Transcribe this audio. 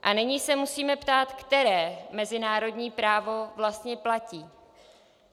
A nyní se musíme ptát, které mezinárodní právo vlastně platí.